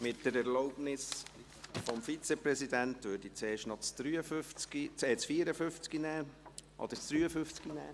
Mit der Erlaubnis des Vizepräsidenten würde ich zuerst noch das Traktandum 53 behandeln.